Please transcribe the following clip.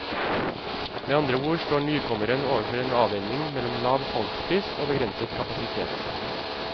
Med andre ord står nykommeren overfor en avveining mellom lav salgspris og begrenset kapasitet.